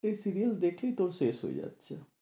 এই series দেখেই তোর শেষ হয়ে যাচ্ছে।